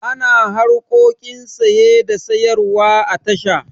Ana harkokin saye da sayarwa a tasha.